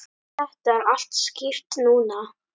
Þetta er allt skýrt núna.